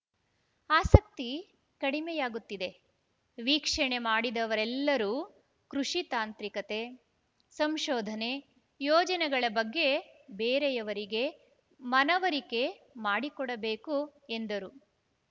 ಆಸಕ್ತಿ ಕಡಿಮೆಯಾಗುತ್ತಿದೆ ವೀಕ್ಷಣೆ ಮಾಡಿದವರೆಲ್ಲರೂ ಕೃಷಿ ತಾಂತ್ರಿಕತೆ ಸಂಶೋಧನೆ ಯೋಜನೆಗಳ ಬಗ್ಗೆ ಬೇರೆಯವರಿಗೆ ಮನವರಿ ಮಾಡಿಕೊಡಬೇಕು ಎಂದರು